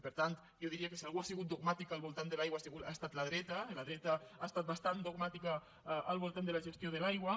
per tant jo diria que si algú ha sigut dogmàtic al voltant de l’aigua ha estat la dreta la dreta ha estat bastant dogmàtica al voltant de la gestió de l’aigua